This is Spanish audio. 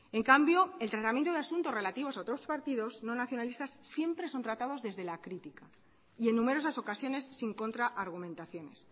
en cambio el tratamiento de asunto relativos a otros partidos no nacionalistas siempre son tratados desde la crítica y en numerosas ocasiones sin contra argumentaciones